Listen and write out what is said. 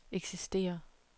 eksisterer